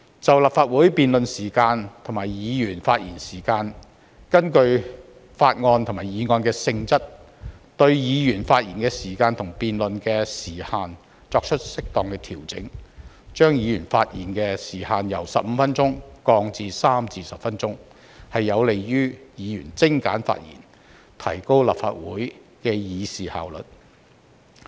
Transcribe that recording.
在立法會辯論時限及議員的發言時限方面，根據法案和議案的性質，對議員發言時限和辯論時限作出適當調整，把議員發言時限由15分鐘降至3至10分鐘，有利於議員精簡發言，提高立法會的議事效率。